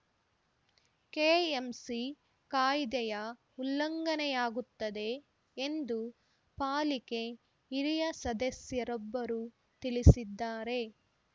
KMC ಕಾಯ್ದೆಯ ಉಲ್ಲಂಘನೆಯಾಗುತ್ತದೆ ಎಂದು ಪಾಲಿಕೆ ಹಿರಿಯ ಸದಸ್ಯರೊಬ್ಬರು ತಿಳಿಸಿದ್ದಾರೆ